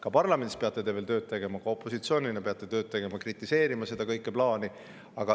Ka parlamendis peate te veel tööd tegema, opositsioonina peate tööd tegema, kritiseerima kogu seda plaani.